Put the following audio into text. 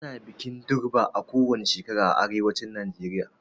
Ana bikin durbar kowani shekara a arewacin Najeriya